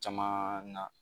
Caman na